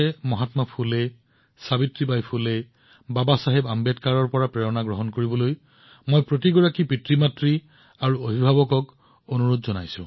মহাত্মা ফুলে সাবিত্ৰীবাই ফুলে বাবাচাহেব আম্বেদকাৰৰ জীৱনৰ পৰা অনুপ্ৰেৰণা লৈ মই সকলো অভিভাৱক আৰু পিতৃমাতৃক তেওঁলোকৰ ছোৱালীক পঢ়ুৱাবলৈ অনুৰোধ জনাইছো